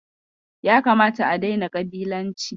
Ya kamata a daina ƙabilanci.